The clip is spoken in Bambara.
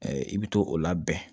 I bɛ to o labɛn